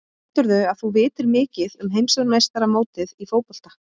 Heldurðu að þú vitir mikið um heimsmeistaramótið í fótbolta?